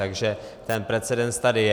Takže ten precedens tady je.